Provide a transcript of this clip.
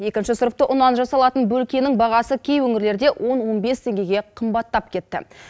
екінші сұрыпты ұннан жасалатын бөлкенің бағасы кей өңірлерде он он бес теңгеге қымбаттап кетті